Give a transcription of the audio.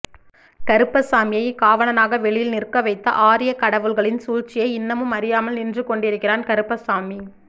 கருப்பசாமியை காவலனாக வெளியில் நிற்க வைத்த ஆர்யக்கடவுள்களின் சூழ்ச்சியை இன்னமும் அறியாமல் நின்று கொண்டிருக்கிறான் கருப்பசாமி